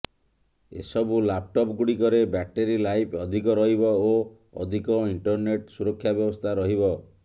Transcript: ଏସବୁ ଲାପଟପ ଗୁଡ଼ିକରେ battery life ଅଧିକ ରହିବ ଓ ଅଧିକ ଇଣ୍ଟରନେଟ ସୁରକ୍ଷା ବ୍ୟବସ୍ଥା ରହିବ